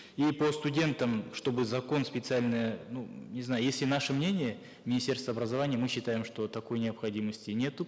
и по студентам чтобы закон специально ну не знаю если наше мнение министерства образования мы считаем что такой необходимости нету